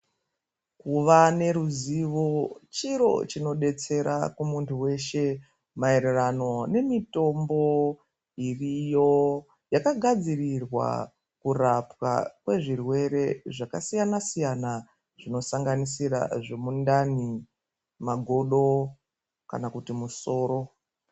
Kuva neruzivo chiro chinodetsera kumuntu weshe maererano nemitombo iriyo yakagadzirirwa kurapwa kwezvirwere zvakasiyana siyana zvinosanganisira zvemundani magodo kana kuti musoro.